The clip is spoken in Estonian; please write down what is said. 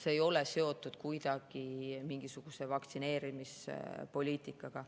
See ei ole kuidagi seotud mingisuguse vaktsineerimispoliitikaga.